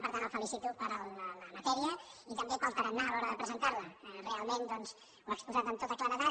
per tant el felicito per la matèria i també pel tarannà a l’hora de presentar la realment doncs ho ha exposat amb tota claredat